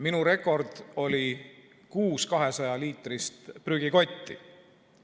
Minu rekord oli kuus 200‑liitrist prügikotti.